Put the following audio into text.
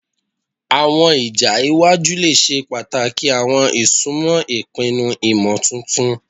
Awọn ija iwaju le ṣe pataki awọn isunmọ ipinnu imotuntun